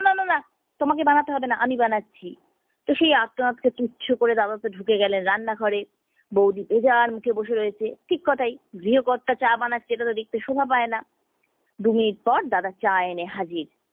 তোমাকে বানাতে হবেনা আমি বানাচ্ছি। তো সেই আর্তনাদকে তুচ্ছ করে দাদা তো ঢুকে গেলেন রান্না ঘরে, বৌদি উজাড় মুখে বসে রয়েছে। ঠিক কথাই, গৃহকর্তা চা বানাচ্ছে এটাতো দেখতে শোভা পাইনা। দু minute পর দাদা চা এনে হাজির